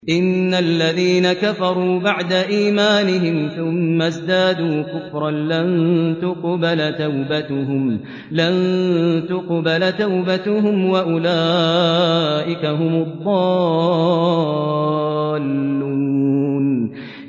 إِنَّ الَّذِينَ كَفَرُوا بَعْدَ إِيمَانِهِمْ ثُمَّ ازْدَادُوا كُفْرًا لَّن تُقْبَلَ تَوْبَتُهُمْ وَأُولَٰئِكَ هُمُ الضَّالُّونَ